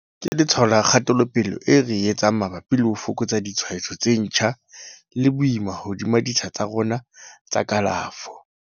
Ke letshwao la kgatelopele eo re e etsang mabapi le ho fokotsa ditshwaetso tse ntjha le boima hodima ditsha tsa rona tsa kalafo.